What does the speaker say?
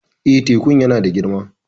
Eh, tekun yana da girma